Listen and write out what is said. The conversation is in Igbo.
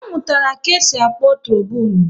A mụtara ka-esi akpọ trobonu